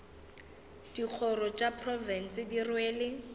dikgoro tša profense di rwele